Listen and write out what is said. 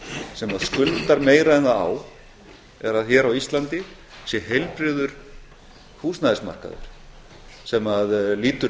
sem skuldar meira en það á er að hér á íslandi sé heilbrigður húsnæðismarkaður sem lýtur